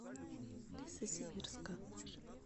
лесосибирска